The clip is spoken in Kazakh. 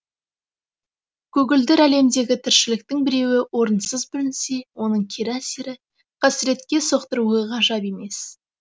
көгілдір әлемдегі тіршіліктің біреуі орынсыз бүлінсе оның кері әсері қасіретке соқтыруы ғажап емес